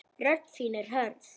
Rödd þín er hörð.